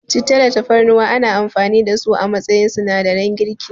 Citta da Tafarnuwa ana amfani da su a matsayin sinadaran girki.